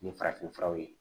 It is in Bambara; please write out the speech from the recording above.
Nin farafinfuraw ye